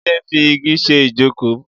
Jide n fi igi ṣé ijókó